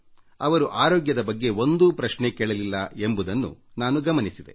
ಅವರು ಆರೋಗ್ಯದ ಬಗ್ಗೆ ಒಂದೇ ಒಂದೂ ಪ್ರಶ್ನೆಯನ್ನೂ ಕೇಳಲಿಲ್ಲ